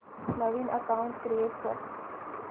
नवीन account create कर